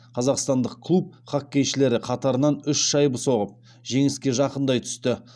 қазақстандық клуб хоккейшілері қатарынан үш шайба соғып жеңіске жақындай түсті